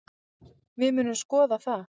Við munum skoða það.